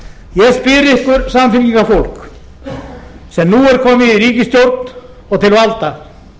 sem nú er komið í ríkisstjórn og til valda